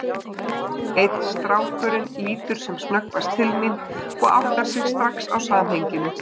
Einn strákurinn lítur sem snöggvast til mín og áttar sig strax á samhenginu.